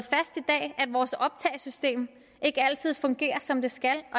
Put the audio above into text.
vores optagesystem ikke altid fungerer som det skal og